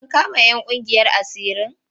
An kama 'yan ƙungiyar asirin?